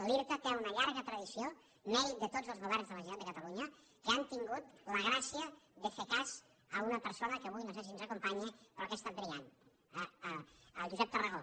l’irta té una llarg tradició mèrit de tots els governs de la generalitat de catalunya que han tingut la gràcia de fer cas a una per sona que avui no sé si ens acompanya però que ha estat brillant el josep tarragó